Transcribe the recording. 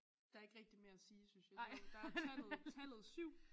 Der er ikke rigtig mere at sige synes jeg jo der er tallet tallet 7